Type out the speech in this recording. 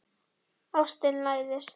Ástin læðist.